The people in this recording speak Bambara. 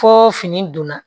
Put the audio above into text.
Fo fini donna